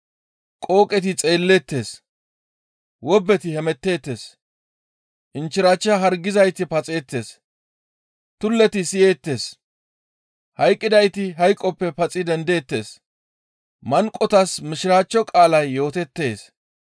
Qooqeti xeelleettes; wobbeti hemetteettes; inchchirachcha hargizayti paxeettes; tulleti siyeettes; hayqqidayti hayqoppe paxi dendeettes; manqotas Mishiraachcho qaalay yooteettes.